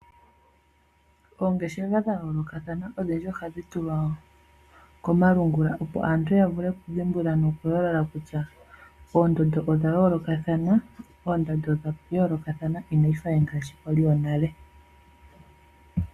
Olngeshefa dha yooloka ohadhi ulikwa komalungula opo aantu ya mone oondando ,oondando dhoapife odh yooloka inadhi fa ngaashi dhonale.